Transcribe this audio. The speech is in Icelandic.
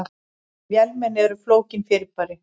Vélmenni eru flókin fyrirbæri.